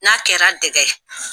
N'a kɛra dɛkɛ ye.